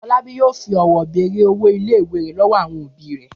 Fọlábí yóò fi ọ̀wọ́ bèrè owó ilé-ìwé rẹ̀ lọ́wọ́ àwọn òbí rẹ̀.